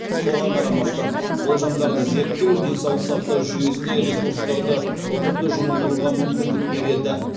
соған қарамастан болжамдарды зерттеу денсаулық сақтау жүйесіне ресурстарды ұтымды жұмылдыруға мүмкіндік береді